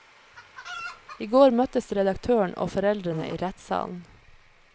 I går møttes redaktøren og foreldrene i rettssalen.